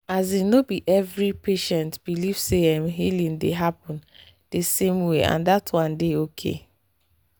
asin no be every patient believe say ehh healing dey happen di same way and that one dey okay